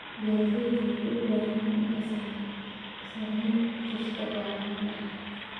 Beeralayda waxay u baahan yihiin inay saamayn ku yeeshaan go'aamada.